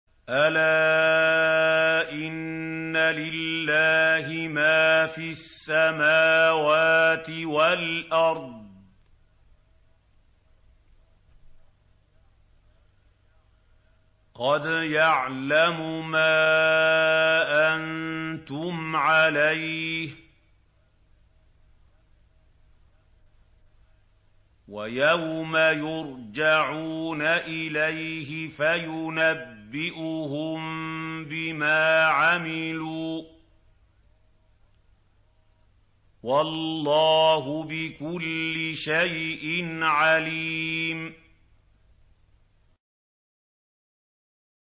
أَلَا إِنَّ لِلَّهِ مَا فِي السَّمَاوَاتِ وَالْأَرْضِ ۖ قَدْ يَعْلَمُ مَا أَنتُمْ عَلَيْهِ وَيَوْمَ يُرْجَعُونَ إِلَيْهِ فَيُنَبِّئُهُم بِمَا عَمِلُوا ۗ وَاللَّهُ بِكُلِّ شَيْءٍ عَلِيمٌ